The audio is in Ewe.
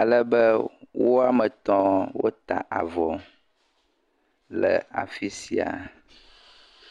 alebe woame etɔ̃ wota avɔ le afi sia.